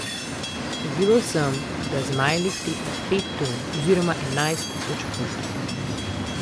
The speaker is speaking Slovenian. Ugibal sem, da zmajelik tehta pet ton oziroma enajst tisoč funtov.